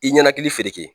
I ɲɛnakili